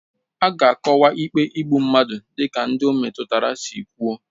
A ga-agwọkwa ikpe igbu mmadụ dịka ndị ọ metụtara si kwuo